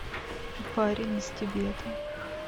парень из тибета